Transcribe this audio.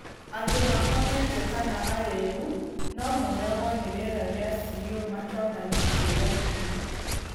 Andũ makomete kana arĩu no moragwo nĩ rĩera rĩa CO matonanĩtie ndariri.